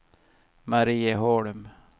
Marieholm